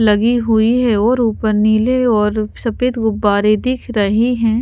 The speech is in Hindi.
लगी हुई है और ऊपर नीले और सफेद गुब्बारे दिख रहे हैं।